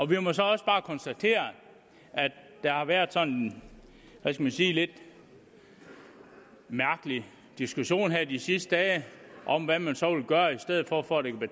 vi må så også bare konstatere at der har været sådan lidt mærkelig diskussion her de sidste dage om hvad man så vil gøre i stedet for for at